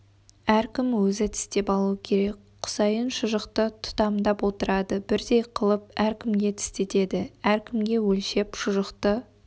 әркім өзі тістеп алу керек құсайын шұжықты тұтамдап отырады бірдей қылып әркімге тістетеді әркімге өлшеп шұжықты